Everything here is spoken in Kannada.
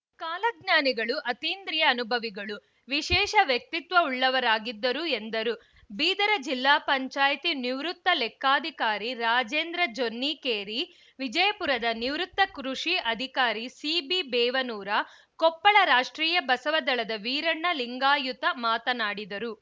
ಕಾಲಜ್ಞಾನಿಗಳು ಅತೀಂದ್ರಿಯ ಅನುಭಾವಿಗಳು ವಿಶೇಷ ವ್ಯಕ್ತಿತ್ವ ಉಳ್ಳವರಾಗಿದ್ದರು ಎಂದರು ಬೀದರ ಜಿಲ್ಲಾಪಂಚಾಯತಿ ನಿವೃತ್ತ ಲೆಕ್ಕಾಧಿಕಾರಿ ರಾಜೇಂದ್ರ ಜೊನ್ನಿಕೇರಿ ವಿಜಯಪುರದ ನಿವೃತ್ತ ಕೃಷಿ ಅಧಿಕಾರಿ ಸಿಬಿ ಬೇವನೂರ ಕೊಪ್ಪಳ ರಾಷ್ಟ್ರೀಯ ಬಸವ ದಳದ ವೀರಣ್ಣ ಲಿಂಗಾಯುತ ಮಾತನಾಡಿದರು